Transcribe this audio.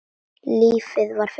Lífið var fiskur.